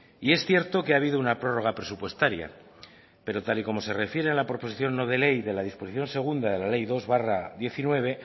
y es cierto que ha habido una prórroga presupuestaria pero tal y como se refiere a la proposición no de ley de la disposición segunda de la ley dos barra diecinueve